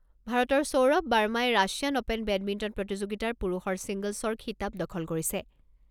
ভাৰতৰ সৌৰভ বাৰ্মাই Russian open badminton প্ৰতিযোগিতাৰ পুৰুষৰ ছিংগল্‌ছৰ খিতাপ দখল কৰিছে।